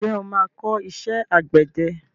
Ǹjẹ́ o máa kọ́ iṣẹ́ àgbẹ̀dẹ?